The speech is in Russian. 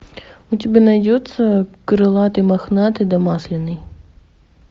у тебя найдется крылатый мохнатый да масляный